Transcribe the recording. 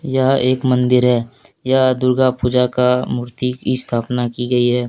यह एक मंदिर है यह दुर्गा पूजा का मूर्ति की स्थापना की गई है।